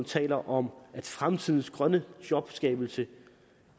taler om at fremtidens grønne jobskabelse